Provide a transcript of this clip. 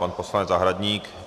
Pan poslanec Zahradník.